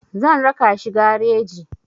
Zan raka shi gareji.